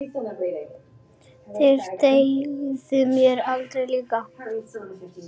Þeir dugðu mér harla lítið.